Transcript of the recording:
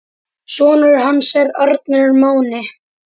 Sonur hans er Arnar Máni.